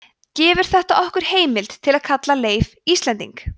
gefur þetta okkur heimild til að kalla leif íslending